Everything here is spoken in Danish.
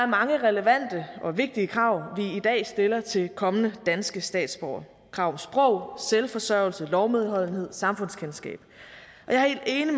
mange relevante og vigtige krav vi i dag stiller til kommende danske statsborgere det krav om sprog selvforsørgelse lovlydighed og samfundskendskab